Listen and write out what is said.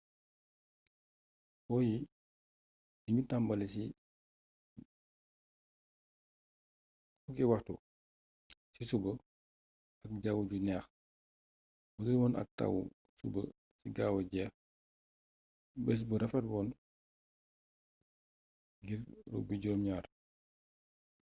poyi dignu tambali ci 10:00 ci suba ak jawwu ju néx budul woon ak tawwu suba si gawa jéx bés bu rafétla woon ngir rugby jurom gnaar